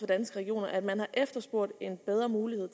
danske regioner at man har efterspurgt en bedre mulighed